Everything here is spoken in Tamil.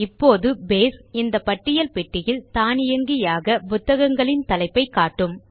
இப்போது பேஸ் இந்த பட்டியல் பெட்டியில் தானியங்கியாக புத்தகங்களின் தலைப்பை காட்டும்